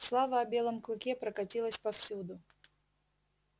слава о белом клыке прокатилась повсюду